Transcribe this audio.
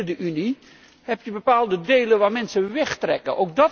Ook bínnen de Unie zijn er bepaalde delen waar mensen wegtrekken.